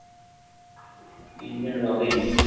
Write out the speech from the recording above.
engine રવિન